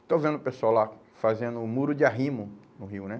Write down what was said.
Estou vendo o pessoal lá fazendo o muro de arrimo no rio, né?